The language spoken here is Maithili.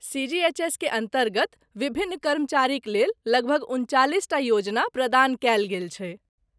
सी.जी.एच.एस. के अन्तर्गत विभिन्न कर्मचारीक लेल लगभग उनचालिसटा योजना प्रदान कयल गेल छैक।